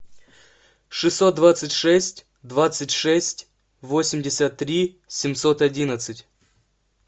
шестьсот двадцать шесть двадцать шесть восемьдесят три семьсот одиннадцать